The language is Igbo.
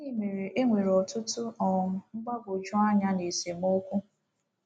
Gịnị mere e nwere ọtụtụ um mgbagwoju anya na esemokwu?